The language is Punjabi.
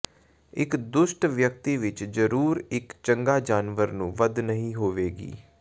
ਇੱਕ ਦੁਸ਼ਟ ਵਿਅਕਤੀ ਵਿੱਚ ਜ਼ਰੂਰ ਇੱਕ ਚੰਗਾ ਜਾਨਵਰ ਨੂੰ ਵਧ ਨਹੀ ਹੋਵੇਗੀ